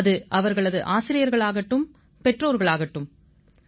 அது ஆசிரியர்களானாலும் பெற்றோர்களானாலும் யாருடைய யோசனைக்கும் செவி மடுப்பதில்லை